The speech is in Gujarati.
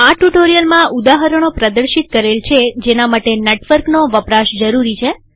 આ ટ્યુ્ટોરીઅલમાંઉદાહરણો પ્રદશિત કરેલ છે જેના માટે નેટવર્કનો વપરાશ જરૂરી છે